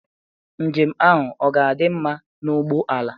Njem ahụ ọ ga-adị mma na ụgbọ ala ụgbọ ala?